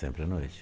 Sempre à noite.